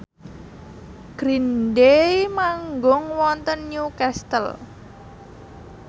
Green Day manggung wonten Newcastle